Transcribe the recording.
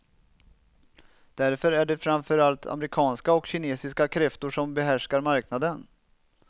Därför är det framför allt amerikanska och kinesiska kräftor som behärskar marknaden.